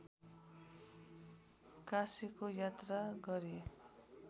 काशीको यात्रा गरी